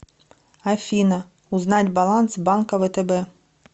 афина узнать баланс банка втб